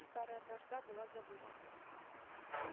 старая вражда была забыта